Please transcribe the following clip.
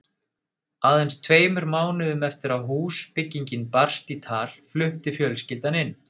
Aðeins tveimur mánuðum eftir að húsbyggingin barst í tal flutti fjölskyldan inn.